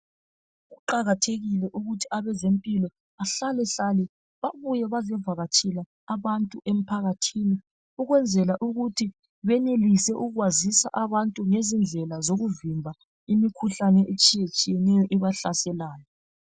Kuqakathekile ukuthi abezempilakahle bahlalahlale babuye bazevakatshela abantu emphakathini ukwenzela ukuthi benelise ukwazisa abantu ngezindlela zokuvimba imikhuhlane etshiyeneyo ebahlaselayo.